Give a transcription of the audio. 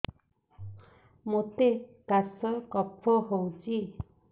ମୋତେ କାଶ କଫ ହଉଚି